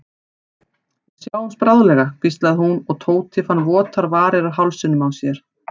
Við sjáumst bráðlega hvíslaði hún og Tóti fann votar varir á hálsinum á sér.